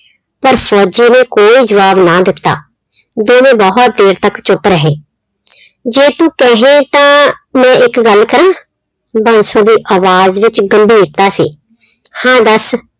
ਪਰ ਫ਼ੋਜ਼ੀ ਨੇ ਕੋਈ ਜਵਾਬ ਨਾ ਦਿੱਤਾ, ਦੋਵੇਂ ਬਹੁਤ ਦੇਰ ਤੱਕ ਚੁੱਪ ਰਹੇ ਜੇ ਤੂੰ ਕਹੇਂ ਤਾਂ ਮੈਂ ਇੱਕ ਗੱਲ ਕਰਾਂ, ਬਾਂਸੋ ਦੀ ਆਵਾਜ਼ ਵਿੱਚ ਗੰਭੀਰਤਾ ਸੀ, ਹਾਂ ਦੱਸ